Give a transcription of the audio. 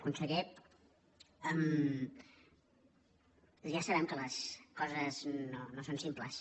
conseller ja sabem que les coses no són simples